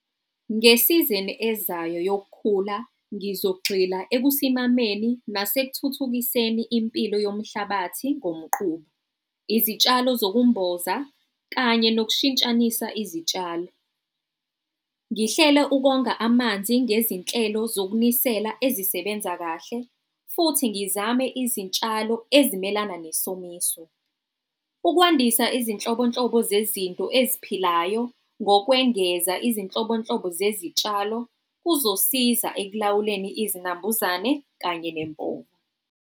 Ngesizini ezayo yokukhula, ngizogxila ekusimameni nasekuthuthukiseni impilo yomhlabathi ngomquba, izitshalo zokumboza kanye nokushintshanisa izitshalo. Ngihlele ukonga amanzi ngezinhlelo zokunisela ezisebenza kahle futhi ngizame izitshalo ezimelana nesomiso. Ukwandisa izinhlobonhlobo zezinto eziphilayo ngokwengeza izinhlobonhlobo zezitshalo kuzosiza ekulawuleni izinambuzane kanye nempova.